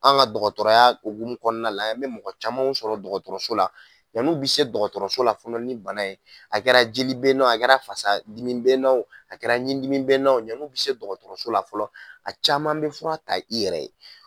An' ŋa dɔgɔtɔrɔya ogumu kɔɔna la i be mɔgɔ camanw sɔrɔ dɔgɔtɔrɔso la, yan'u bi se dɔgɔtɔrɔso la fɔnɔ ni bana ye a kɛra jeli be na o a kɛra fasa dimi be na o a kɛra ɲin dimi be na o ɲan'u bi se dɔgɔtɔrɔso la fɔlɔ, a caman be fura ta i yɛrɛ ye.